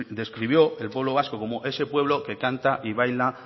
describió el pueblo vasco como ese pueblo que canta y baila